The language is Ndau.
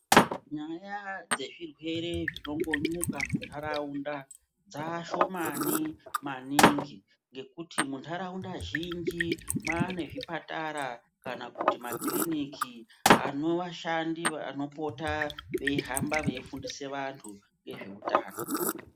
Nyaya dzezvirwere zvinongonyuka mundaraunda dzashomani maningi ngekuti mundaraunda zhinji mwane zvipatara kana kuti makiriniki anova vashandi vanopota veihamba veifundise vantu ngezveutano.